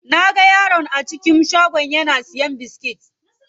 Naga yaron a cikin shagon yana siyan biskit.